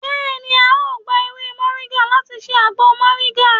beeni ao gba ewé moringa lati se agbo moringa.